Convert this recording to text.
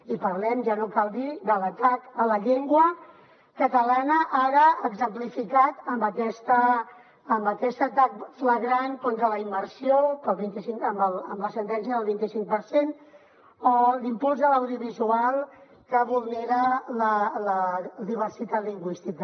i parlem ja no cal dir ho de l’atac a la llengua catalana ara exemplificat amb aquest atac flagrant contra la immersió amb la sentència del vint i cinc per cent o l’impuls de l’audiovisual que vulnera la diversitat lingüística